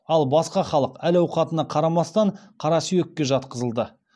ал басқа халық әл ауқатына қарамастан қара сүйекке жатқызылды